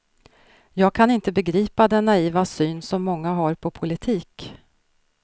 Jag kan inte begripa den naiva syn som många har på politik.